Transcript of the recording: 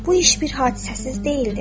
Bu iş bir hadisəsiz deyildir.